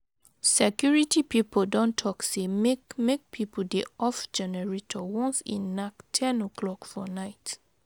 Security pipo don talk sey make make pipo dey off generator once e nak 10:00 for night.